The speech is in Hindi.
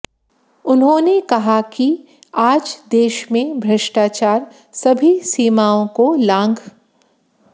उन्होंने कहा कि आज देश में भ्रष्टाचार सभी सीमाओं को लांघ